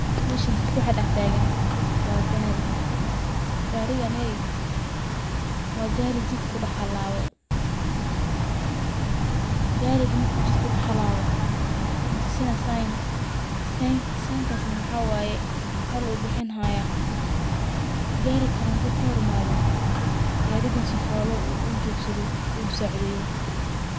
Meshan waxa dhax taagan waa gaari, gaariganey waa gaari jidk kudhax halaawe, gaari markuu jidka kudhax haalabo wuxuu tusina sign sainkas na maxawaye nal u bixini haya ,gaari kale handu kahor imaado gaarigan sifola uu ujogsado u usaacideeyo